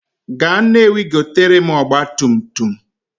Gaa Nnewi goteere m ọgbatumtum!